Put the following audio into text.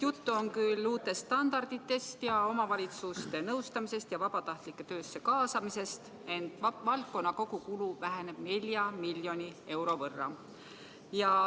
Juttu on küll uutest standarditest ja omavalitsuste nõustamisest ja vabatahtlike töösse kaasamisest, ent valdkonna kogukulu väheneb 4 miljoni euro võrra.